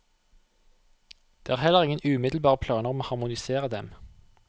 Det er heller ingen umiddelbare planer om å harmonisere dem.